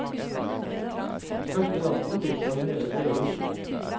Første natten drikker han hele kjelen.